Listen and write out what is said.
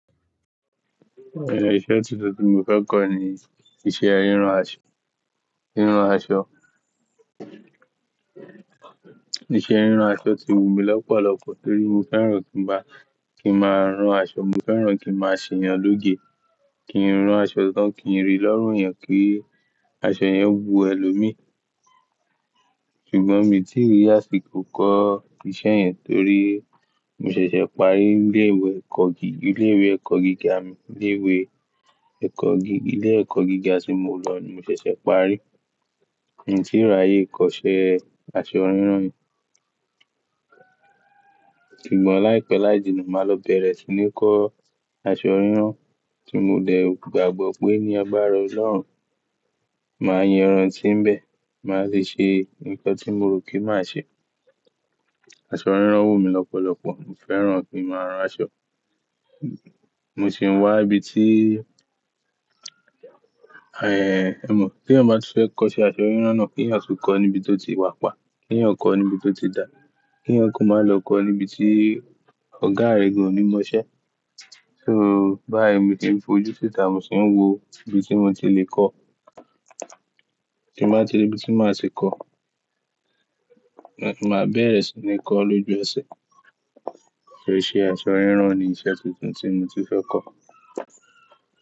Ise tuntun ti mo fẹ́ kọ̀ ní iṣẹ́ a rínran aṣọ, rínran aṣọ. Iṣẹ́ rínran aṣọ ti wù mí lọ́pọ̀lọpọ̀ torí mo fẹ́ràn kí ń bá, kí ń máa rán aṣọ, mo fẹ́ràn kí ń máa ṣe yàn lóge, kí ń ran aṣọ tán, kí ń rí lọ́rùn eyan ki aṣọ yẹn wu ẹlòmí. Ṣùgbọ́n mi tí rí àsìkò kọ́ iṣẹ́ yẹn torí mo ṣẹ̀ṣẹ̀ parí ilé ìwé ẹkọ gi-- ilé ìwé ẹkọ gíga mi. Ilé ìwé ẹkọ gi-- ilé ẹkọ gíga tí mo lọ ní mo ṣẹ̀ṣẹ̀ parí. Mi ò tíì ra ayé kọ́ṣẹ́ aṣọ rínran yẹn. Ṣùgbọ́n láìpẹ́ láìjìnà, màá lọ bẹ̀rẹ̀ sí ní kọ́ aṣọ rínran tí mo dẹ̀ gbàgbọ́ pé ní àgbara Ọlọ́run, màá yan ran tí ń bẹ, màá sì ṣe nǹkan tí mo rò kí màá ṣe. Aṣọ rínran wù mí lọ́pọ̀lọpọ̀, mo fẹ́ràn kí ń máa rán aṣọ. Mo sì ń wá ibi tí, emọ̀, tí ẹ̀yin má ba ti fe kọ́ṣẹ́ aṣọ rínran náà, kí ẹ̀yan tun kọ́ níbi tó ti wà pa. Kí ẹ̀yin ó kọ níbi tó ti dà. Kí ẹ̀yin kò má lọ kọ́ níbi tí ọ̀gá rẹ gan o ní mọṣẹ́. So báyìí mi tí ń fojú síta, mo sì ń wò ibi tí mo ti lè kọ́. Tí màá ti ri ibi tí màá ti kọ́, màá bẹ̀rẹ̀ sí ní kọ́ lójú ẹsẹ̀. So iṣẹ́ aṣọ rínran ni iṣẹ́ tuntun tí mo ti fẹ́ kọ́.